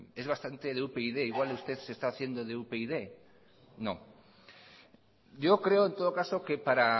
es bastante de upyd igual usted se está haciendo de upyd yo creo en todo caso que para